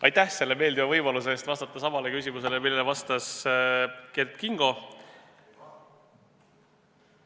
Aitäh meeldiva võimaluse eest vastata samale küsimusele, millele vastas Kert Kingo!